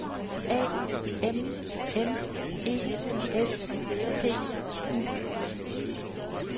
A M N E S T I